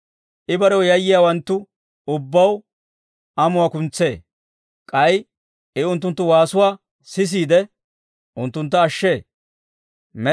I barew yayyiyaawanttu ubbaw, amuwaa kuntsee. K'ay I unttunttu waasuwaa sisiide, unttuntta ashshee.